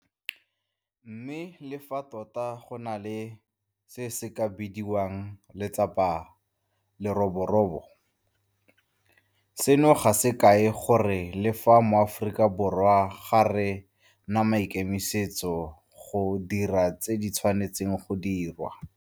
Mme le fa tota go na le se se ka bidiwang 'letsapa la leroborobo', seno ga se kae gore re le maAforika Borwa ga re na maikemisetso a go dira tse di tshwanetseng go dirwa.